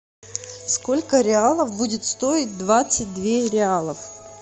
сколько реалов будет стоить двадцать две реалов